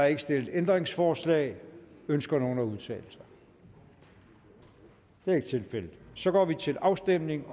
er ikke stillet ændringsforslag ønsker nogen at udtale sig det er ikke tilfældet og så går vi til afstemning